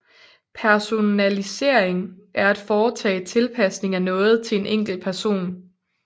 Personalisering er at foretage tilpasning af noget til en enkelt person